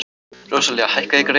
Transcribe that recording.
Róselía, hækkaðu í græjunum.